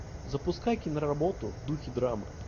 запускай киноработу в духе драмы